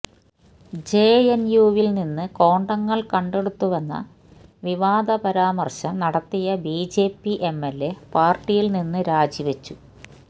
ജെഎൻയുവിൽ നിന്ന് കോണ്ടങ്ങൾ കണ്ടെടുത്തുവെന്ന വിവാദ പരമാർശം നടത്തിയ ബിജെപി എംഎൽഎ പാർട്ടിയിൽ നിന്ന് രാജി വെച്ചു